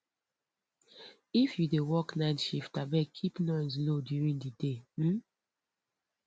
if you dey work night shift abeg keep noise low during the day um